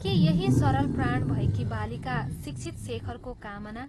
के यही सरल प्राण भएकी बालिका शिक्षित शेखरको कामना......